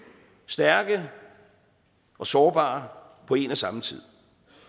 stærke og sårbare på en og samme tid